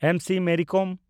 ᱮᱢ. C. Mary ᱠᱚᱢ